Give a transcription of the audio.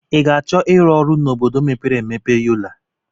I ga-achọ ịrụ ọrụ n'obodo mepere emepe Yola?